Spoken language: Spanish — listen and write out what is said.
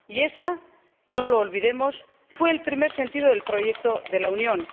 Y ese, no lo olvidemos, fue el primer sentido del proyecto de la Unión.